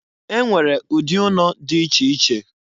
E nwere ụdị ụnọ di iche iche.